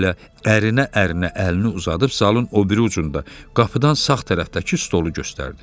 Valə ərinə-ərinə əlini uzadıb zalın o biri ucunda qapıdan sağ tərəfdəki stolu göstərdi.